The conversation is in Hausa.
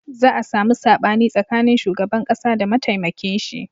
Za a samu saɓani tsakanin shugaban ƙasa da mataimakin shi